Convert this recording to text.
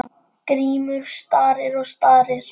Grímur starir og starir.